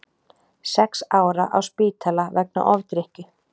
Sex ára á spítala vegna ofdrykkju